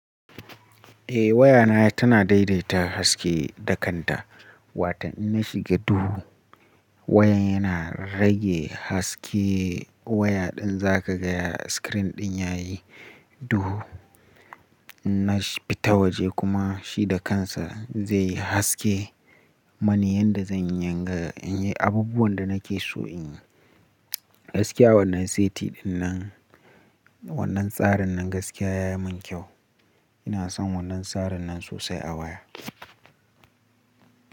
Eh waya na tana daidaita haske da kanta. Watan in na shiga duhu wayan yana rage haske waya din za ka gaya screen din yayi duhu. In na fita waje kuma shi da kansa zai yi haske. Mani yadda zan iya yin abubuwan da nake so in yi. Gaskiya wannan saiti din nan, wannan tsarin nan gaskiya ya yi min kyau. Ina son wannan tsarin nan sosai a waya.